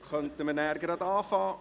Dann können wir gleich beginnen.